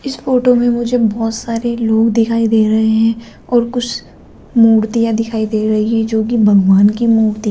इस फोटो में मुझे बहोत सारे लोग दिखाई दे रहे हैं और कुछ मूर्तियां दिखाई दे रही हैं जो कि भगवान की मूर्ति --